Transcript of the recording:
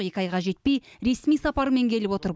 екі айға жетпей ресми сапармен келіп отыр